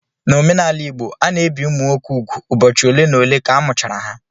N'omenala Igbo, a na-ebi ụmụ nwoke úgwù ụbọchị ole n'ole ka a mụchara ha